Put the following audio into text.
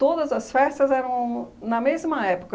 Todas as festas eram na mesma época.